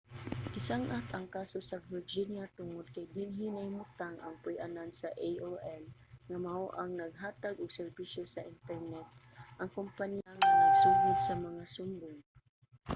gisang-at ang kaso sa virginia tungod kay dinhi nahimutang ang puy-anan sa aol nga mao ang naghatag og serbisyo sa internet ang kumpanya nga nagsugod sa mga sumbong